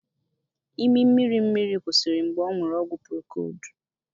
Imi mmirimmiri kwụsịrị mgbe ọṅụru ọgwụ procold